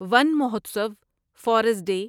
one Mahotsav forest day